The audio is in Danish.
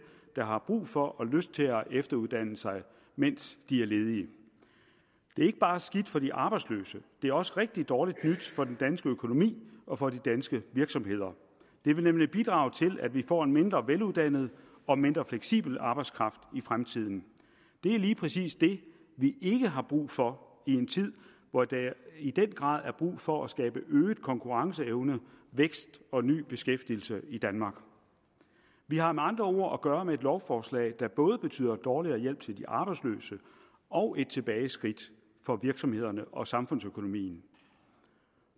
der har brug for og lyst til at efteruddanne sig mens de er ledige det er ikke bare skidt for de arbejdsløse det er også rigtig dårligt nyt for den danske økonomi og for de danske virksomheder det vil nemlig bidrage til at vi får en mindre veluddannet og mindre fleksibel arbejdskraft i fremtiden det er lige præcis det vi ikke har brug for i en tid hvor der i den grad er brug for at skabe øget konkurrenceevne vækst og ny beskæftigelse i danmark vi har med andre ord at gøre med et lovforslag der både betyder dårligere hjælp til de arbejdsløse og et tilbageskridt for virksomhederne og samfundsøkonomien